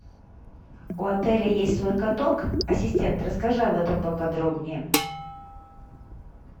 у отеля есть свой каток ассистент расскажи об этом поподробнее